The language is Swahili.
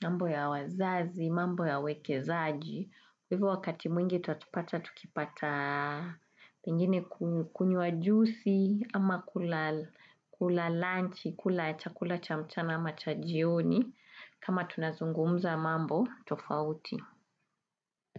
mambo ya wazazi, mambo ya uwekezaji. Hivo wakati mwingi utatupata, tukipata pengine kunywa jusi ama kula lunch, kula chakula cha mchana ama cha jioni. Kama tunazungumza mambo, tofauti.